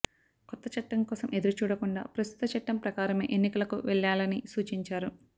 కొత్త చట్టం కోసం ఎదురుచూడకుండా ప్రస్తుత చట్టం ప్రకారమే ఎన్నికలకు వెళ్లాలని సూచించారు